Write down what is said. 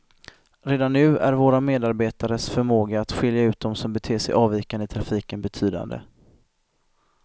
Redan nu är våra medarbetares förmåga att skilja ut dem som beter sig avvikande i trafiken betydande.